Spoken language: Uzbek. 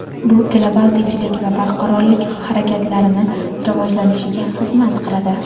bu global tinchlik va barqarorlik harakatlarini rivojlanishiga xizmat qiladi.